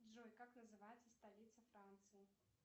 джой как называется столица франции